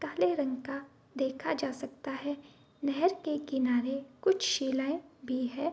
काले रंग का देखा जा सकता है नहर के किनारे कुछ शिलाएं भी है।